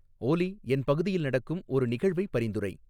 ஓலி என் பகுதியில் நடக்கும் ஒரு நிகழ்வை பரிந்துரை